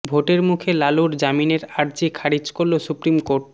ভোটের মুখে লালুর জামিনের আর্জি খারিজ করল সুপ্রিম কোর্ট